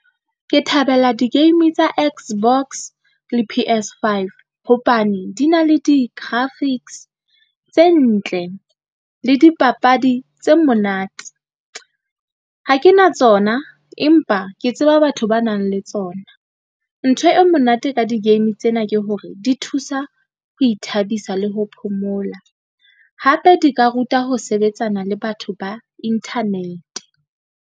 Ke thabela di-game tsa X_box le P_S5 hobane di na le di-graphics tse ntle le dipapadi tse monate. Ha ke na tsona, empa ke tseba batho ba nang le tsona. Ntho e monate ka di-game tsena ke hore di thusa ho ithabisa le ho phomola, hape di ka ruta ho sebetsana le batho ba internet.